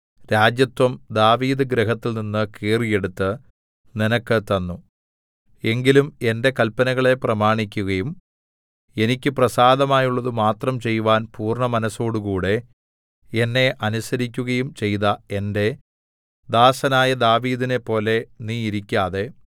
രാജത്വം ദാവീദ് ഗൃഹത്തിൽനിന്ന് കീറിയെടുത്ത് നിനക്ക് തന്നു എങ്കിലും എന്റെ കല്പനകളെ പ്രമാണിക്കയും എനിക്ക് പ്രസാദമുള്ളതു മാത്രം ചെയ്‌വാൻ പൂർണ്ണമനസ്സോടുകൂടെ എന്നെ അനുസരിക്കുകയും ചെയ്ത എന്റെ ദാസനായ ദാവീദിനെപ്പോലെ നീ ഇരിക്കാതെ